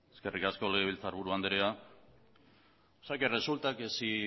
eskerrik asko legebiltzarburu andrea resulta que si